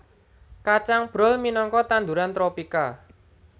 Kacang brol minangka tanduran tropika